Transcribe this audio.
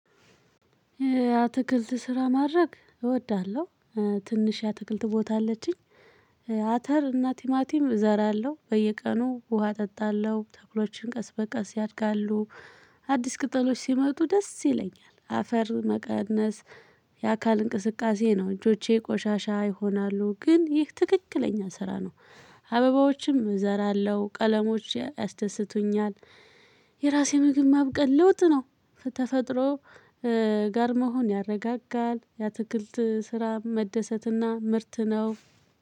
አትክልት ስራ ማድረግ እወዳለሁ። ትንሽ የአትክልት ቦታ አለችኝ። አተር እና ቲማቲም እዘራለሁ በየቀኑ ውሃ እጠጣለሁ ተክሎችም ቀስ በቀስ ያድጋሉ። አዲስ ቅጠሎች ሲመጡ ደስ ይለኛል አፈር መቀነስ። የአካል እንቅስቃሴ ነው እጆቼ ቆሻሻ ይሆናሉ ግን ይህ ትክክለኛ ስራ ነው። አበባዎችም እዘራለሁ ቀለሞች ያስደስቱኛል። የራሴ ምግብ ማብቀል ለውጥ ነው። ተፈጥሮ ጋር መሆን ያረጋጋል። የአትክልት ስራ መደሰትና ምርት ነው።